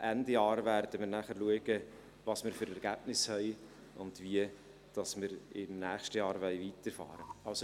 Ende Jahr werden wir dann schauen, welche Ergebnisse wir haben und wie wir im nächsten Jahr weiterfahren wollen.